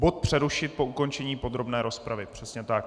Bod přerušit po ukončení podrobné rozpravy, přesně tak.